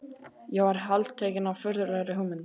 Ég varð heltekinn af furðulegri hugmynd.